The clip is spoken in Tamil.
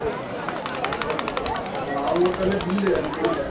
அவங்க இருக்காங்க தில்லியில இருக்காங்க தில்லியில்